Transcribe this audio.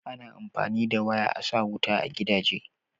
ana amfani da waya a sa wuta a gidaje